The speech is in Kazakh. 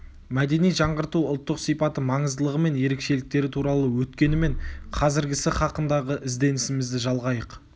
мәдени жаңғырту ұлттық сипаты маңыздылығы мен ерекшеліктері туралы өткені мен қазіргісі һақындағы ізденісімізді жалғайық